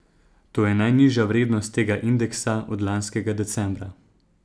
To je najnižja vrednost tega indeksa od lanskega decembra.